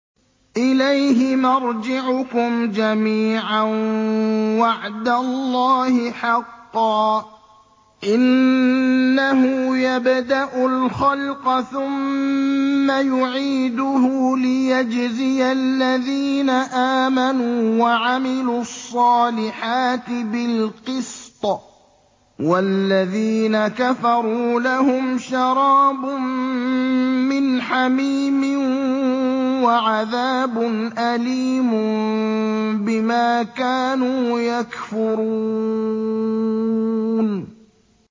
إِلَيْهِ مَرْجِعُكُمْ جَمِيعًا ۖ وَعْدَ اللَّهِ حَقًّا ۚ إِنَّهُ يَبْدَأُ الْخَلْقَ ثُمَّ يُعِيدُهُ لِيَجْزِيَ الَّذِينَ آمَنُوا وَعَمِلُوا الصَّالِحَاتِ بِالْقِسْطِ ۚ وَالَّذِينَ كَفَرُوا لَهُمْ شَرَابٌ مِّنْ حَمِيمٍ وَعَذَابٌ أَلِيمٌ بِمَا كَانُوا يَكْفُرُونَ